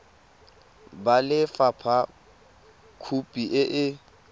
ba lefapha khopi e e